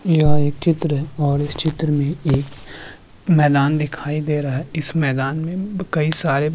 यह एक चित्र है और इस चित्र में एक मैदान दिखाई दे रहा है इस मैदान में ब कई सारे --